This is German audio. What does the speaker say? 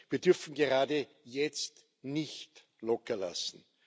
Wir dürfen gerade jetzt nicht lockerlassen.